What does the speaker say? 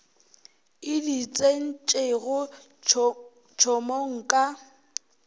e di tsentšego tšhomong ka